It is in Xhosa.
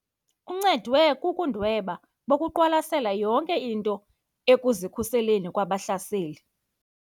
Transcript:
Uncedwe bubundwebi bokuqwalasela yonke into ekuzikhuseleni kubahlaseli.